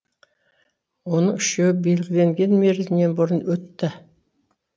оның үшеуі белгіленген мерзімінен бұрын өтті